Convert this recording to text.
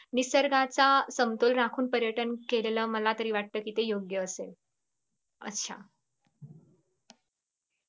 निसर्गाचा समतोल राखून पर्यटन केलेलं मला तरी वाटत ते योगय असेल. अच्छा